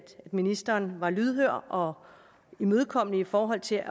ministeren var lydhør og imødekommende i forhold til